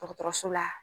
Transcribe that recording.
Dɔgɔtɔrɔso la